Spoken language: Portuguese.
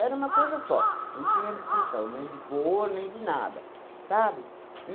Era uma coisa só, não tinha distinção nem de cor, nem de nada, sabe?